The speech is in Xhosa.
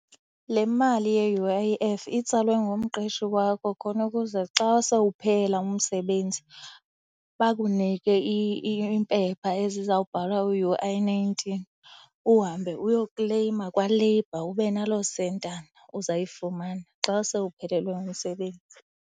Le mali ye-U_I_F itsalwe ngumqeshi wakho khona ukuze xa sewuphela umsebenzi bakunike iimpepha ezizawubhalwa u-U_I nineteen uhambe uyokleyima kwa-labour, ube naloo sentana uzayifumana xa sewuphelelwe ngumsebenzi.